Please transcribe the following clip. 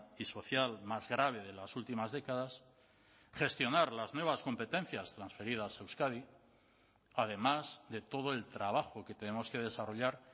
y social más grave de las últimas décadas gestionar las nuevas competencias transferidas a euskadi además de todo el trabajo que tenemos que desarrollar